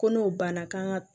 Ko n'o banna k'an ka